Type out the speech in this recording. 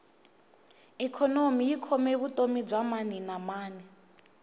ikhonomi yi khome vutomi bya maninamani